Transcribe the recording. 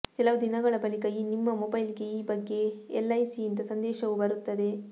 ಕೆಲವು ದಿನಗಳ ಬಳಿಕ ನಿಮ್ಮ ಮೊಬೈಲ್ಗೆ ಈ ಬಗ್ಗೆ ಎಲ್ಐಸಿಯಿಂದ ಸಂದೇಶವೂ ಬರುತ್ತದೆ